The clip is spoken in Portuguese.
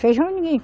Feijão, ninguém.